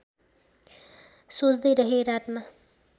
सोच्दै रहेँ रातमा